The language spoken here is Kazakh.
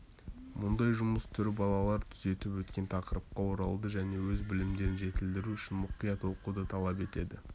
мұндай жұмыс түрі балалар түзетіп өткен тақырыпқа оралуды және өз білімдерін жетілдіру үшін мұқият оқуды талап етеді